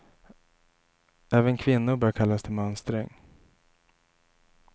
Även kvinnor bör kallas till mönstring.